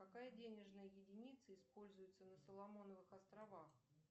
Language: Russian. какая денежная единица используется на соломоновых островах